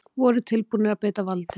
Voru tilbúnir að beita valdi